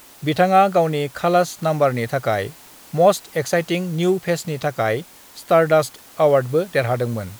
बिथाङा गावनि 'खलास' नाम्बारनि थाखाय मस्ट एक्साइटिं न्यू फेसनि थाखाय स्टारडस्ट अवार्डबो देरहादोंमोन।